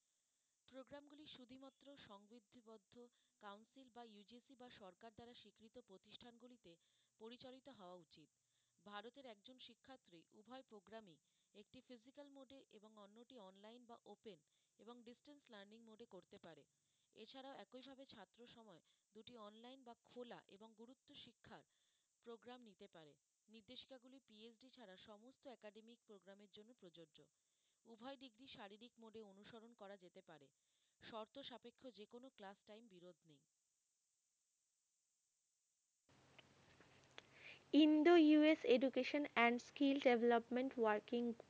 Indo US education and skill development working.